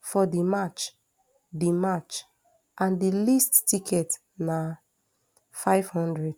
for di match di match and di least ticket na nfive hundred